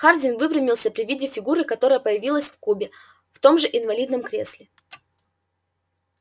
хардин выпрямился при виде фигуры которая появилась в кубе в том же инвалидном кресле